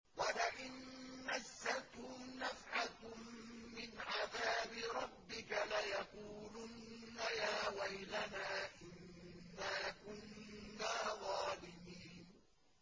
وَلَئِن مَّسَّتْهُمْ نَفْحَةٌ مِّنْ عَذَابِ رَبِّكَ لَيَقُولُنَّ يَا وَيْلَنَا إِنَّا كُنَّا ظَالِمِينَ